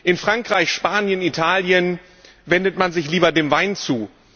In Frankreich, Spanien, Italien wendet man sich lieber dem Wein zu.